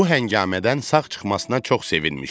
Bu həngamədən sağ çıxmasına çox sevinmişdi.